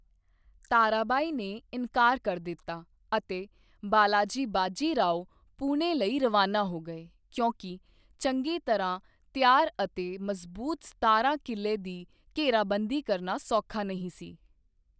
ਤਾਰਾਬਾਈ ਨੇ ਇਨਕਾਰ ਕਰ ਦਿੱਤਾ ਅਤੇ ਬਾਲਾਜੀ ਬਾਜੀ ਰਾਓ ਪੁਣੇ ਲਈ ਰਵਾਨਾ ਹੋ ਗਏ ਕਿਉਂਕਿ ਚੰਗੀ ਤਰ੍ਹਾਂ ਤਿਆਰ ਅਤੇ ਮਜ਼ਬੂਤ ਸਤਾਰਾ ਕਿਲ੍ਹੇ ਦੀ ਘੇਰਾਬੰਦੀ ਕਰਨਾ ਸੌਖਾ ਨਹੀਂ ਸੀ।